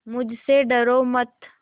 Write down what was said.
मुझसे डरो मत